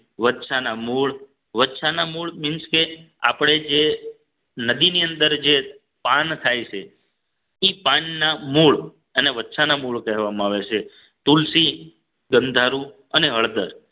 વચ્છાના મૂળ વછાના મૂળ means કે આપણે જે નદીની અંદર જે પાન થાય છે એ પાનના મૂળ અને વચ્છાના મૂળ કહેવામાં આવે છે તુલસી ગંધારું અને હળદર